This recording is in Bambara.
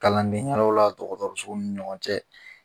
Kalandenyɔrɔ la dɔgɔtɔrɔso ni ɲɔgɔn cɛ